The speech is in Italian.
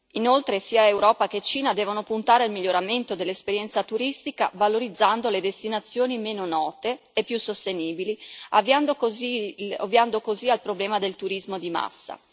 Inoltre, sia Europa che Cina devono puntare al miglioramento dell'esperienza turistica, valorizzando le destinazioni meno note e più sostenibili, ovviando così al problema del turismo di massa.